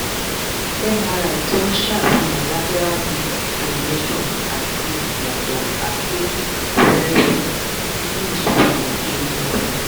mri tó ń ṣàfihàn lateral disc herniation àti ìyàtọ̀ arthritic fẹ́ẹ́rẹ́fẹ́ nínú ìsòpọ̀ egungun